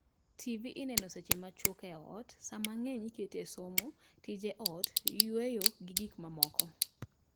Tv ineno seche macwok e ot saa mang'eny ikete somo, tije ot, yueyo gi gik mamoko